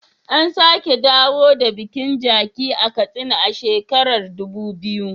An sake dawo da bikin Jaci a Katsina a shekarar Dubu biyu.